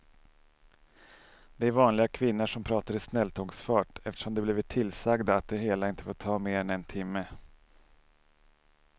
Det är vanliga kvinnor som pratar i snälltågsfart eftersom de blivit tillsagda att det hela inte får ta mer än en timme.